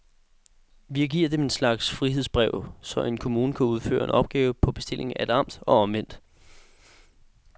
Vi giver dem en slags frihedsbrev, så en kommune kan udføre en opgave på bestilling af et amt, og omvendt.